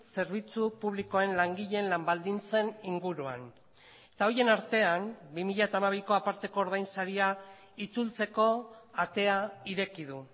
zerbitzu publikoen langileen lan baldintzen inguruan eta horien artean bi mila hamabiko aparteko ordainsaria itzultzeko atea ireki du